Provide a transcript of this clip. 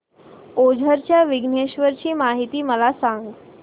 ओझर च्या विघ्नेश्वर ची महती मला सांग